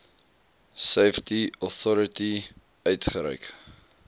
safety authority uitgereik